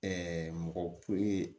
mɔgɔ ye